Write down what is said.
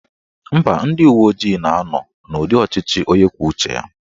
Mba, ndị uwe ojii na-anọ n'ụdị ọchịchị onye kwuo uche ya